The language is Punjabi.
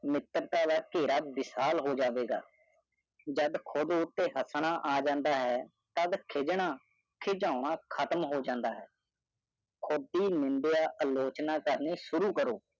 ਮਿੱਤਰਤਾ ਦਾ ਕੇਰਾ ਵਿਹਸਾਲ ਹੋ ਜਾਵੇ ਗਏ ਜਦ ਕੁੜ੍ਹ ਉਤੇ ਹੈ ਤੱਦ ਖੇਢਣਾ ਕਿਧੋਂਣਾ ਖ਼ਤਮ ਹੋਜਾਂਦਾ ਹੈ ਕੁੜ੍ਹ ਦੀ ਨਿਦਿਆਂ ਆਲੋਚਨਾ ਕਰਨਾ ਸ਼ੁਰੂ ਕਰੋ